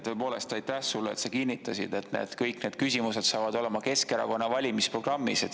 Tõepoolest, aitäh sulle, et sa kinnitasid, et kõik need küsimused saavad olema Keskerakonna valimisprogrammis.